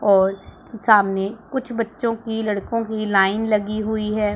और सामने कुछ बच्चों की लड़कों की लाइन लगी हुई है।